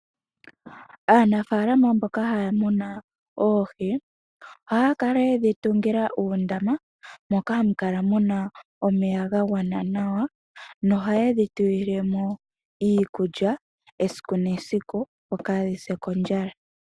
Aanafalama mboka haya muna oohi, ohaya kala yedhi tungila uundama moka hamukala muna omeya gagwana nawa na oha ye dhi tulilemo iikulya esiku nesiku opo kadhi sile mo kondjala.